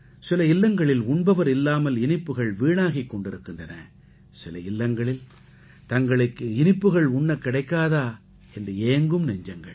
சில இல்லங்களில் உண்பவர் இல்லாமல் இனிப்புகள் வீணாகிக் கொண்டிருக்கின்றன சில இல்லங்களில் தங்களுக்கு இனிப்புகள் உண்ணக் கிடைக்காதா என்று ஏங்கும் நெஞ்சங்கள்